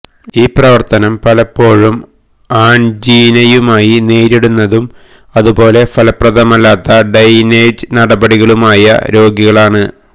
ഈ പ്രവർത്തനം പലപ്പോഴും ആൻജീനയുമായി നേരിടുന്നതും അതുപോലെ ഫലപ്രദമല്ലാത്ത ഡ്രെയിനേജ് നടപടികളുമായ രോഗികളാണ്